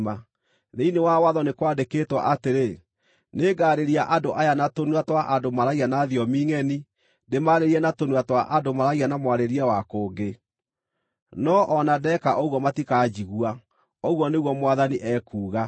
Thĩinĩ wa Watho nĩ kwandĩkĩtwo atĩrĩ: “Nĩngaarĩria andũ aya na tũnua twa andũ maaragia na thiomi ngʼeni, ndĩmaarĩrie na tũnua twa andũ maaragia na mwarĩrie wa kũngĩ, no o na ndeeka ũguo matikanjigua,” ũguo nĩguo Mwathani ekuuga.